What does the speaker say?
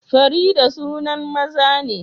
Farida sunan maza ne